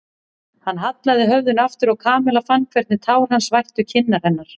Hann hallaði höfðinu aftur og Kamilla fann hvernig tár hans vættu kinnar hennar.